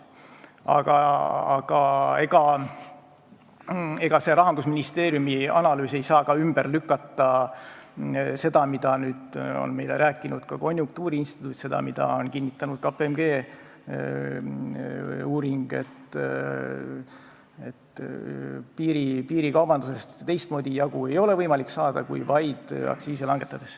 Aga ega see Rahandusministeeriumi analüüs ei saa ümber lükata seda, mida meile on rääkinud konjunktuuriinstituut ja mida on kinnitanud KPMG uuring, et piirikaubandusest ei ole võimalik teistmoodi jagu saada kui vaid aktsiise langetades.